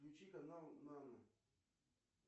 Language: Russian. включи канал на на